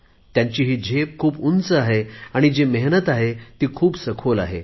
त्यांची ही झेप खूप उंच आहे आणि जी मेहनत आहे ती खूप सखोल आहे